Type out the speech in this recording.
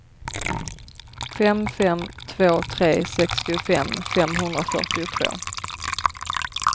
fem fem två tre sextiofem femhundrafyrtiotvå